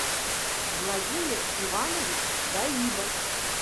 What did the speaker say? владимир иванович даибов